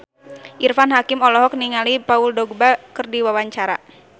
Irfan Hakim olohok ningali Paul Dogba keur diwawancara